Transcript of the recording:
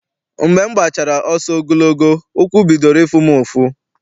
Mgbe m gbachara ọsọ ogologo, ụkwụ bidoro ịfụ m ụfụ.